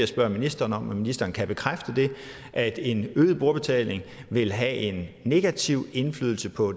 spørge ministeren om ministeren kan bekræfte at en øget brugerbetaling vil have en negativ indflydelse på